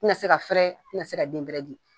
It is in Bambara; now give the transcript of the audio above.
Ti na se ka fɛrɛ ti na se ka den bɛrɛ di.